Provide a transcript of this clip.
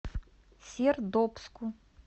сердобску